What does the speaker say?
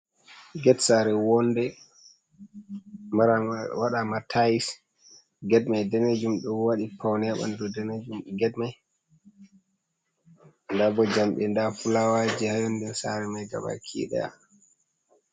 Get sare wonɗe waɗa matais. Get mai ɗanejum ɗo waɗi paune banɗu ba banɗu ɗanejum get mai. Ɗabo jamɗe, ɗa fulawaje ha yonɗen sare mai gaba kidaya.